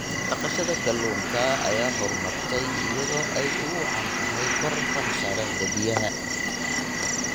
Dhaqashada kalluunka ayaa horumartay iyadoo ay ugu wacan tahay kororka mashaariicda biyaha.